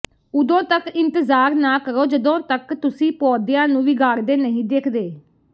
ਉਦੋਂ ਤੱਕ ਇੰਤਜ਼ਾਰ ਨਾ ਕਰੋ ਜਦੋਂ ਤੱਕ ਤੁਸੀਂ ਪੌਦਿਆਂ ਨੂੰ ਵਿਗਾੜਦੇ ਨਹੀਂ ਦੇਖਦੇ